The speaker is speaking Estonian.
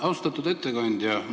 Austatud ettekandja!